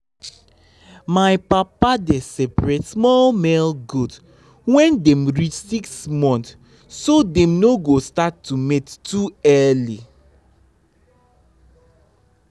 my papa dey separate small male goat when dem reach six months so dem no go start to mate too early.